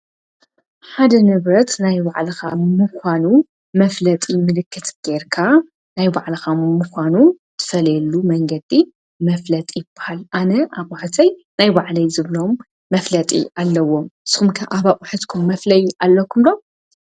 ሓደ ነብረት ናይ ባዕልኻ ምዃኑ መፍለጢ ምልክት ገርካ ናይ ባዕለኻ ምዃኑ ትፈልየሉ መንገዲ መፍለጢ ይበሃል። ኣነ ኣብሕሰይ ናይ ባዕለይ ዘብሎም መፍለጢ ኣለዎ ስምከ ኣባቝሐትኩም መፍለይ ኣለኩምሎ?